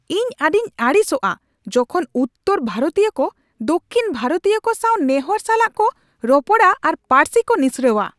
ᱤᱧ ᱟᱹᱰᱤᱧ ᱟᱹᱲᱤᱥᱚᱜᱼᱟ ᱡᱚᱠᱷᱚᱱ ᱩᱛᱛᱚᱨ ᱵᱷᱟᱨᱚᱛᱤᱭᱟᱹ ᱠᱚ ᱫᱚᱠᱠᱷᱤᱱ ᱵᱷᱟᱨᱚᱛᱤᱭᱚ ᱠᱚ ᱥᱟᱶ ᱱᱮᱦᱚᱨ ᱥᱟᱞᱟᱜ ᱠᱚ ᱨᱚᱯᱚᱲᱼᱟ ᱟᱨ ᱯᱟᱹᱨᱥᱤ ᱠᱚ ᱱᱤᱥᱲᱟᱹᱣᱟ ᱾